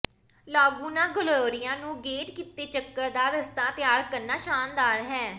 Laguna Gloria ਨੂੰ gate ਕੀਤੇ ਚੱਕਰ ਦਾ ਰਸਤਾ ਤਿਆਰ ਕਰਨਾ ਸ਼ਾਨਦਾਰ ਹੈ